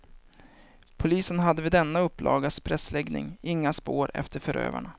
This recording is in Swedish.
Polisen hade vid denna upplagas pressläggning inga spår efter förövarna.